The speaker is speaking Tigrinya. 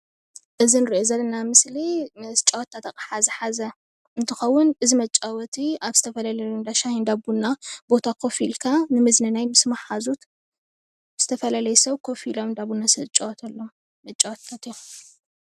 እዚ እንሪኦ ዘለና ምስሊ መጫወትታት ኣቕሓ ዝሓዘ እንትከውን እዚ ወጫወቲ ኣብ ዝተፈላለዩ እንዳሻሂ፣ እንዳ ቡና ቦታ ኮፍ ኢልካ ንምዝንናይ ምስ መሓዙት፣ ምስዝተፈላለየ ሰብ ከፍ ኢሎም ዝጫወትሉ መጫወትታት እዩም፡፡